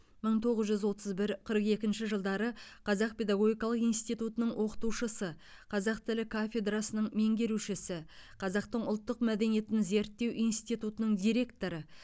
мың тоғыз жүз отыз бір қырық екінші жылдары қазақ педагогикалық институтының оқытушысы қазақ тілі кафедрасының меңгерушісі қазақтың ұлттық мәдениетін зерттеу институтының директоры